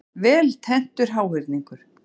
Vel tenntur háhyrningur.